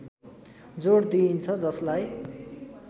जोड दिइन्छ जसलाई